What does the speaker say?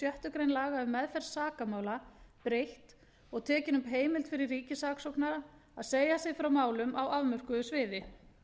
grein laga um meðferð sakamála breytt og tekin upp heimild fyrir ríkissaksóknara að segja sig frá málum á afmörkuðu sviði